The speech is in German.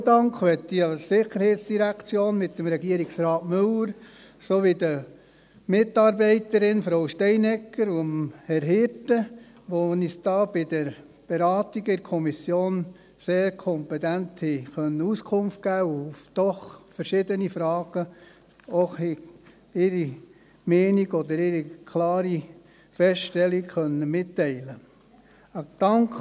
Einen speziellen Dank möchte ich der SID aussprechen, mit Regierungsrat Müller sowie den Mitarbeitenden Frau Steinegger und Herrn Hirte, die uns bei den Beratungen in der Kommission sehr kompetent Auskunft geben und bei verschiedenen Fragen ihre Meinung oder eine klare Feststellung mitteilen konnten.